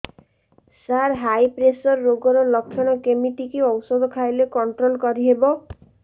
ସାର high pressure ରୋଗର ଲଖଣ କେମିତି କି ଓଷଧ ଖାଇଲେ କଂଟ୍ରୋଲ କରିହେବ